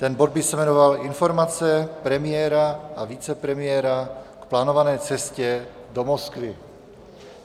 Ten bod by se jmenoval Informace premiéra a vicepremiéra k plánované cestě do Moskvy.